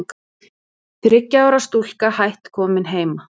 Þriggja ára stúlka hætt komin heima